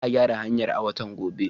Za a gyara hanyar a watan gobe.